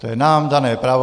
To je nám dané právo.